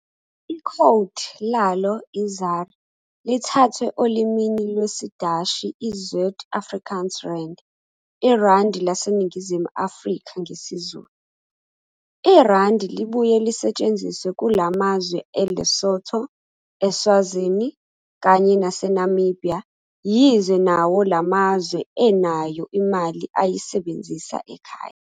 Ikhowdi lalo i-ZAR lithathwe olimini lwesiDashi, "Zuid-Afrikaanse Rand", iRandi laseNingizimu Afrika ngesiZulu. IRandi libuye lisbthsnziswe kulamazwe eLesotho, eSwazini kanye nase Namibhiya yize nwo lamzawe enayo imali ayisebenzisa ekhaya.